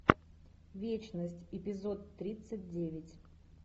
вечность эпизод тридцать девять